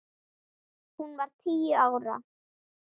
Hún var tíu ára.